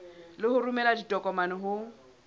le ho romela ditokomane ho